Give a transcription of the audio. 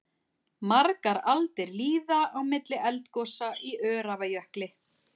Margar aldir líða á milli eldgosa í Öræfajökli.